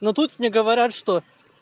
но тут мне говорят что